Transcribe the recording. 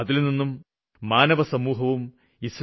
അതില്നിന്നും മാനവസമൂഹത്തിന് നേട്ടമുണ്ടാകും